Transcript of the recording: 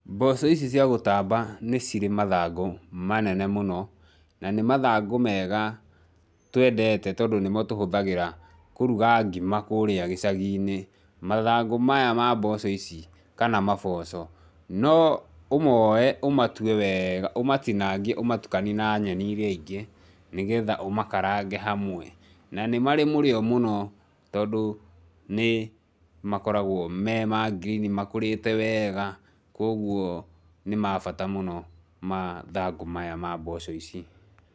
Mboco ici cia gũtamba nicirĩ mathangũ manene mũno na nĩ mathangũ mega twendete tondũ nĩmotũhuthagĩra kũruga ngima kũũrĩa gĩcaginĩ. Mathangũ maya ma mboco ici kana maboco noũmoe ũmatuee weega, ũmatinangie, ũmatukanie na nyeni ingĩ nĩgetha ũmakarange hamwe na nĩmarĩ mũrĩo mũno tondũ nĩmakoragwo mema green makũrĩte weega kwogũo nĩ ma bata mũno mathangũ maya ma mboco ici.